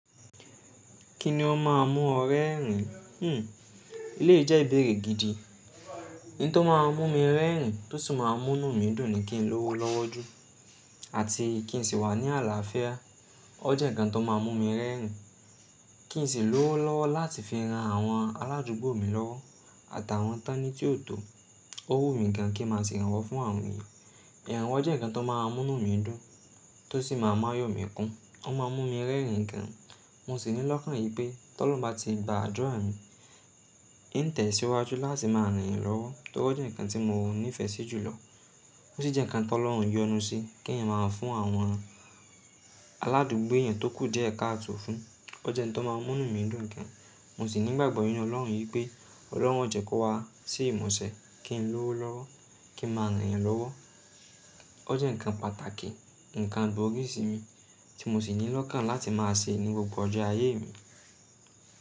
Kí ni ó máa ń mú ọ rẹ́rìn? Hmm, eleyii jẹ ìbéèrè gidi. In tó máa ń mú mi rẹ́rìn tó sì máa ń mú nu mii dùn ni kí n lówó lọ́wọ́ ju àti kí n sì wà ní àlàáfíà. O jẹ́ nǹkan tó máa ń mú mi rẹ́rìn. Kí n sì lówó lọ́wọ́ láti fi ran àwọn aládùúgbò mi lọ́wọ́ àtàwọn tání tí ò tó. Ó wù mí gan kí n má sì iranwọ́ fún àwọn èèyàn. Iranwo jẹ́ nǹkan tó máa ń mú mí dùn tó sì máa ń mú ayọ̀ mi kún. Ó máa ń mú mi rẹ́rìn gan. Mo sì ní lọ́kàn yìí pé tọ lọun bá ti gba àdura mi, in tẹ̀síwájú láti máa ran yan lọ́wọ́ tóri o jẹ́ nǹkan tí mo nífẹ̀ẹ́ sí jùlọ. Ó sì jẹ́ nǹkan tọ lọ́un yọnu sí kí èèyàn máa ń fún àwọn aládùúgbò èèyàn tó kù díẹ̀ káàto fún. O jẹ ntó máa ń mú nu mí dùn gan. Mo sì ní ìgbàgbọ́ nínú Ọlọ́run yìí pé Ọlọ́run o jẹ́ kó wá sí ìmusẹ kí n lówó lọ́wọ́, kí n máa ran yan lọ́wọ́. O jẹ́ nǹkan pàtàkì, nǹkan gbòógì sí mi tí mo sì ní lọ́kàn láti máa ṣe ní gbogbo ọjọ́ ayé mi.